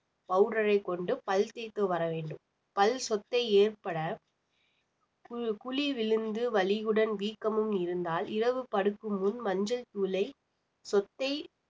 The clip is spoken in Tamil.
powder ஐ கொண்டு பல் தேய்த்து வர வேண்டும் பல் சொத்தை ஏற்பட குழி விழுந்து வலியுடன் வீக்கமும் இருந்தால் இரவு படுக்கும் முன் மஞ்சள் தூளில் சொத்தை